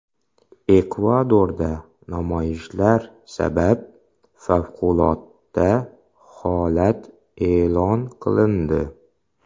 Ekvadorda namoyishlar sabab favqulodda holat e’lon qilindi.